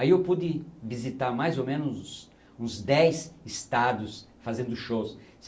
Aí eu pude visitar mais ou menos uns dez estados fazendo shows.